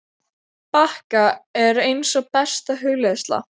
bakka er eins og besta hugleiðsla.